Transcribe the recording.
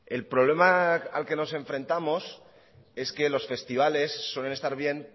el problema al que nos enfrentamos es que los festivales suelen estar bien